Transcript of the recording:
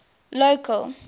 local